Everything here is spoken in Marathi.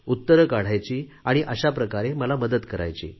उत्तरे काढायची आणि अशाप्रकारे मला मदत करायची